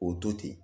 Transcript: O to ten